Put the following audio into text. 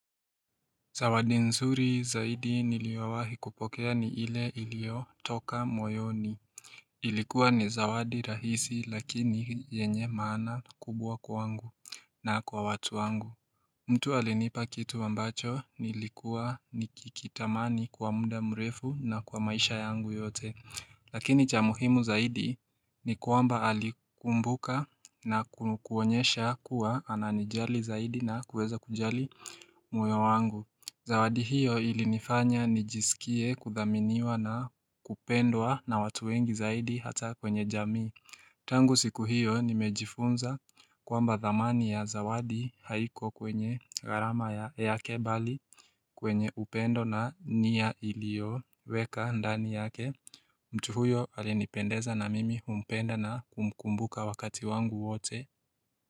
Zawadi nzuri zaidi niliyowahi kupokea ni ile iliyotoka moyoni Ilikuwa ni zawadi rahisi lakini yenye maana kubwa kwangu na kwa watu wangu mtu alenipa kitu ambacho nilikuwa nikikitamani kwa muda mrefu na kwa maisha yangu yote Lakini cha muhimu zaidi ni kwamba alikumbuka na kuonyesha kuwa ananijali zaidi na kuweza kujali moyo wangu Zawadi hiyo ilinifanya nijisikie kuthaminiwa na kupendwa na watu wengi zaidi hata kwenye jamii Tangu siku hiyo nimejifunza kwamba thamani ya zawadi haiko kwenye gharama yake bali kwenye upendo na nia ilio weka ndani yake mtu huyo alinipendeza na mimi humpenda na kumkumbuka wakati wangu wote.